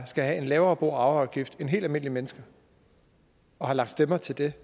skal have en lavere bo og arveafgift end helt almindelige mennesker og har lagt stemmer til det